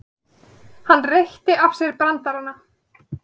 Hann reytti af sér brandarana.